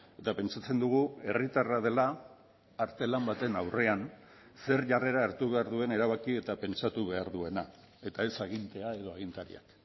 eta pentsatzen dugu herritarra dela artelan baten aurrean zer jarrera hartu behar duen erabaki eta pentsatu behar duena eta ez agintea edo agintariak